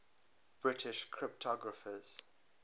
british cryptographers